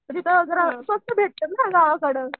वगैरे स्वस्थ भेटतं ना गावाकडं.